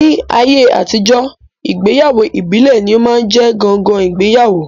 Ní ayé àtijọ́, ìgbéyàwó ìbílẹ̀ ní ó máa ń jẹ́ ọ̀gangan ìgbéyàwó